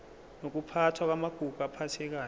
nokuphathwa kwamagugu aphathekayo